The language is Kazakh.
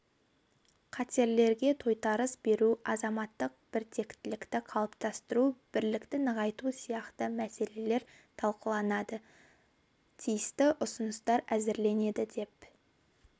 қатерлерге тойтарыс беру азаматтық біртектілікті қалыптастыру бірлікті нығайту сияқты мәселелер талқыланады тиісті ұсыныстар әзірленеді деп